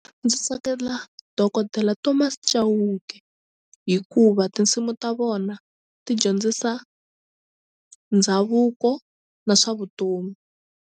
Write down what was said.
Ndzi tsakela Dokodela Thomas Chauke hikuva tinsimu ta vona ti dyondzisa ndhavuko na swa vutomi.